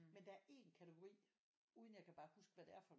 Men der er 1 kategori uden jeg kan bare huske hvad det er for